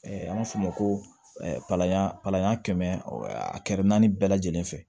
an b'a fɔ o ma ko palan palan kɛmɛ a kɛra naani bɛɛ lajɛlen fɛ